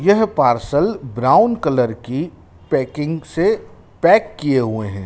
यह parcel brown colour की packing से पैक किए हुए हैं।